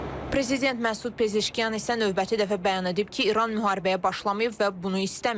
Prezident Məsud Pezeşkiyan isə növbəti dəfə bəyan edib ki, İran müharibəyə başlamayıb və bunu istəməyib.